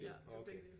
Ja det var begge dele